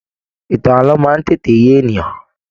Ìtàn ààlọ́ máa n tètè yé ènìyàn.